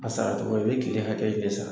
A sara cɔgɔ ye, i bɛ kile hakɛ in de sara.